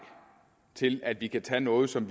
til at vi kan tage noget som